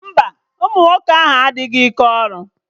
Mba, ụmụ nwoke ahụ enweghị ike iru ọrụ